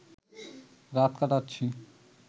রাত কাটাচ্ছি